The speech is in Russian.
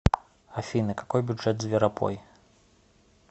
афина какой бюджет зверопой